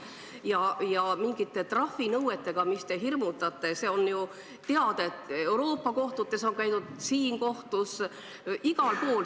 Te hirmutate mingite trahvinõuetega, aga on ju teada, et Euroopa kohtutes on käidud, samuti siin kohtus – igal pool.